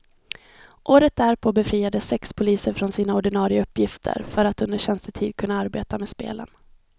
Året därpå befriades sex poliser från sina ordinare uppgifter för att under tjänstetid kunna arbeta med spelen.